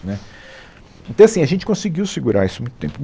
Né, então, assim, a gente conseguiu segurar isso muito tempo.